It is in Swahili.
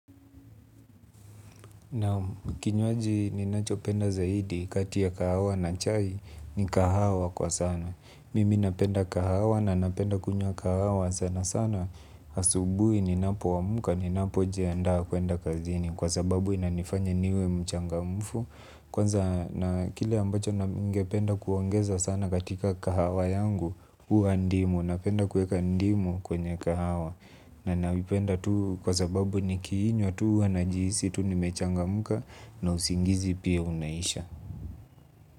Naam kinywaji ninacho penda zaidi kati ya kahawa na chai ni kahawa kwa sana. Mimi napenda kahawa na napenda kunywa kahawa sana sana. Asubuhi ninapo amka ninapo jiandaa kuenda kazini kwa sababu inanifanya niwe mchangamfu. Kwanza na kile ambacho ningependa kuongeza sana katika kahawa yangu huwa ndimu napenda kueka ndimu kwenye kahawa. Na ninaipenda tu kwa sababu nikiinywa tu huwa najisi tu ni mechangamka na usingizi pia unaisha.